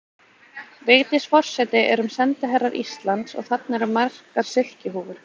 Vigdís forseti erum sendiherrar Íslands og þarna eru margar silkihúfur.